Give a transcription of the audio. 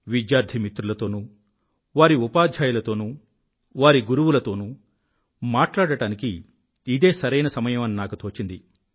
విద్యార్థి మిత్రులతోనూ వారి ఉపాధ్యాయులతోనూ వారి గురువులతోనూ మాట్లాడటానికి ఇదే సరైన సమయం అని నాకు తోచింది